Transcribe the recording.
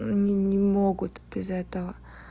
они не могут без этого